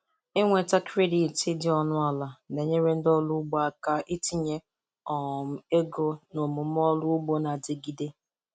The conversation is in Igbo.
Ịnweta kredit dị ọnụ ala na-enyere ndị ọrụ ugbo aka itinye um ego n'omume ọrụ ugbo na-adigide.